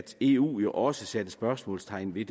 eu også satte spørgsmålstegn ved